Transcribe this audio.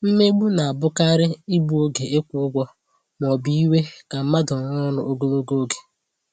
Mmegbu na-abụkarị igbu oge ịkwụ ụgwọ ma ọ bụ iwè ka mmadụ rụọ ọrụ ogologo oge